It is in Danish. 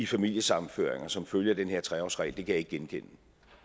familiesammenføringer som følge af den her tre årsregel kan jeg ikke genkende